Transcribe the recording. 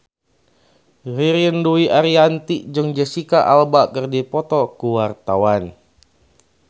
Ririn Dwi Ariyanti jeung Jesicca Alba keur dipoto ku wartawan